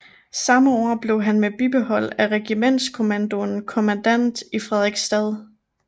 Sammme år blev han med bibehold af regimentskommandoen kommandant i Frederiksstad